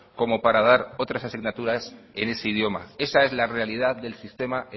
como para dar otras asignaturas en ese idioma esa es la realidad del sistema